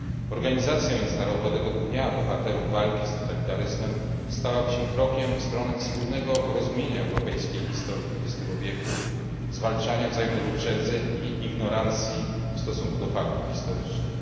Organizacja Międzynarodowego Dnia Bohaterów Walki z Totalitaryzmem stałaby się krokiem w stronę wspólnego rozumienia europejskiej historii XX wieku, zwalczania wzajemnych uprzedzeń i ignorancji w stosunku do faktów historycznych.